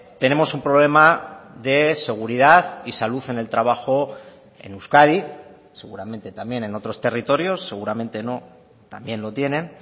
tenemos un problema de seguridad y salud en el trabajo en euskadi seguramente también en otros territorios seguramente no también lo tienen